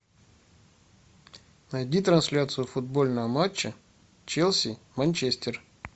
найди трансляцию футбольного матча челси манчестер